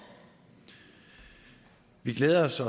vi glæder os